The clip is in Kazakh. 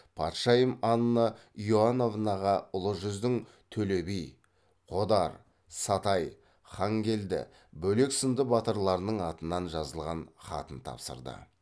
патшайым анна иоановнаға ұлы жүздің төле би қодар сатай хангелді бөлек сынды батырларының атынан жазылған хатын тапсырды